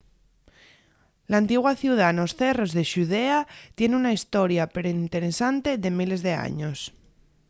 l'antigua ciudá nos cerros de xudea tien una hestoria perinteresante de miles d'años